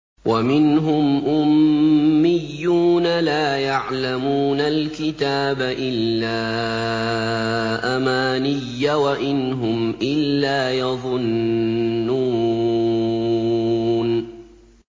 وَمِنْهُمْ أُمِّيُّونَ لَا يَعْلَمُونَ الْكِتَابَ إِلَّا أَمَانِيَّ وَإِنْ هُمْ إِلَّا يَظُنُّونَ